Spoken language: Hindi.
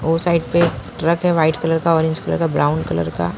ओ साइड पे ट्रक है वाइट कलर का ऑरेंज कलर का ब्राउन कलर का--